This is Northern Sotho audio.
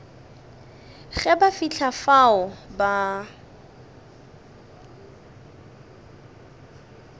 ge ba fihla fao ba